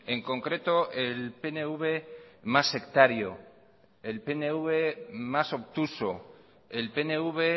en concreto el pnv más sectario el pnv más obtuso el pnv